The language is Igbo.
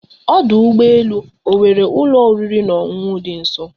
Ọdụ ụgbọ elu ọ nwere ụlọ oriri na ọṅụṅụ dị nso?